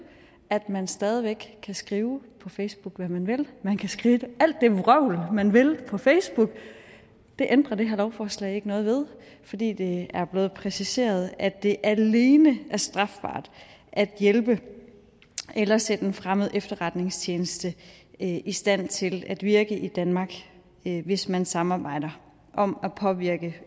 at man stadig væk kan skrive på facebook hvad man vil man kan skrive alt det vrøvl man vil på facebook det ændrer det her lovforslag ikke noget ved fordi det er blevet præciseret at det alene er strafbart at hjælpe eller sætte en fremmed efterretningstjeneste i stand til at virke i danmark hvis man samarbejder om at påvirke